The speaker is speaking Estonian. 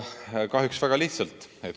Tekib kahjuks väga lihtsalt.